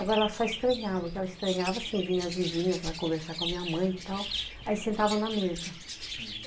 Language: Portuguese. Agora, ela só estranhava, porque ela estranhava, assim, vinha as vizinhas lá conversar com a minha mãe e tal, aí sentavam na mesa.